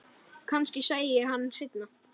Kannski sæi ég hann seinna.